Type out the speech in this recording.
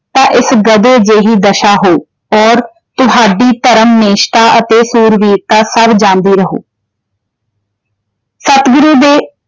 ਤਾਂ ਇਸ ਗਧੇ ਜਿਹੀ ਦਸ਼ਾ ਹੋਉ । ਔਰ ਤੁਹਾਡੀ ਧਰਮ ਨਿਸ਼ਟਾ ਅਤੇ ਸੂਰਬੀਰਤਾ ਸਭ ਜਾਂਦੀ ਰਹੂ।